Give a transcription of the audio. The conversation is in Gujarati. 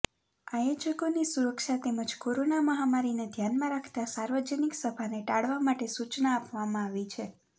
આયોજકોની સુરક્ષા તેમજ કોરોના મહામારીને ધ્યાનમાં રાખતા સાર્વજનિક સભાને ટાળવા માટે સૂચના આપવામાં આવી છે